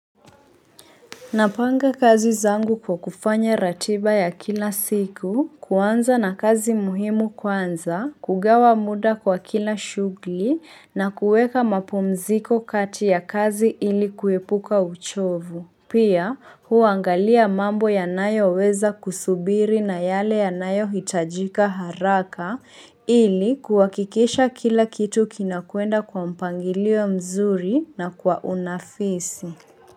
Napanga kazi zangu kwa kufanya ratiba ya kila siku, kuanza na kazi muhimu kuanza, kugawa muda kwa kila shughuli na kuweka mapumziko kati ya kazi ili kuepuka uchovu. Pia huangalia mambo ya nayo weza kusubiri na yale ya nayo hitajika haraka ili kuhakikisha kila kitu kinakwenda kwa mpangilio mzuri na kwa unafisi.